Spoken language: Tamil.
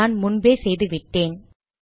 நான் முன்பே செய்து விட்டேன்